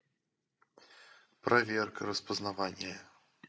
проверка распознавания